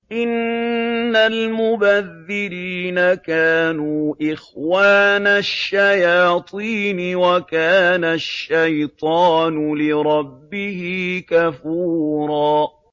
إِنَّ الْمُبَذِّرِينَ كَانُوا إِخْوَانَ الشَّيَاطِينِ ۖ وَكَانَ الشَّيْطَانُ لِرَبِّهِ كَفُورًا